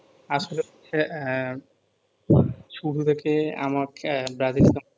আসলে হচ্ছে এহ ছোট থেকে আমার ব্রাজিল সাপ